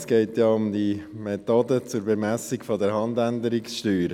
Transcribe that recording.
Es geht ja um die Methode zur Bemessung der Handänderungssteuer.